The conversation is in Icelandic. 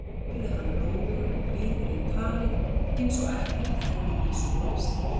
spurði hann rólegur og blíður í tali eins og ekkert hefði í skorist.